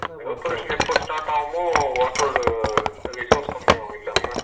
எப்போ start ஆகுமா water resource கம்மி ஆகும்மில்ல